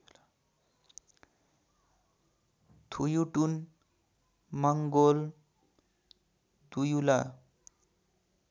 थुयुटुन Mongol दुयुल